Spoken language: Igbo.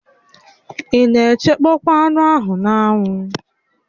Ị na-echekpọ anụ ahụ n'anwụ?